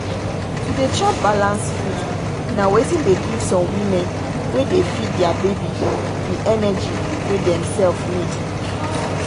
to dey chop balanced food na wetin dey give some women wey dey feed their baby the energy wey them self need.